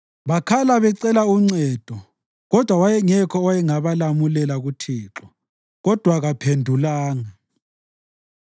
Bakhala becela uncedo, kodwa wayengekho owayengabalamulela kuThixo, kodwa kaphendulanga.